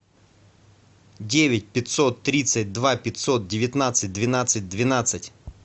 девять пятьсот тридцать два пятьсот девятнадцать двенадцать двенадцать